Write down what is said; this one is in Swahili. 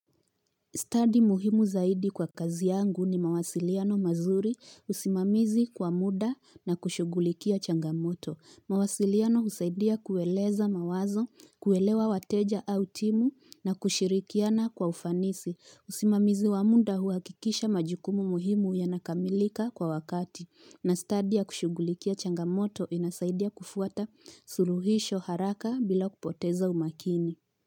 Stadi muhimu zaidi kwa kazi yangu ni mawasiliano mazuri usimamizi kwa muda na kushugulikia changa moto. Mawasiliano usaidia kueleza mawazo, kuelewa wateja au timu na kushirikiana kwa ufanisi. Usimamizi wa muda huhakikisha majukumu muhimu yanakamilika kwa wakati. Na study ya kushughulikia changamoto inasaidia kufuata suluhisho haraka bila kupoteza umakini.